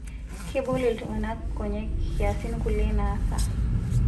Kebol ltung'ana nkonyek kiasin kulie naasa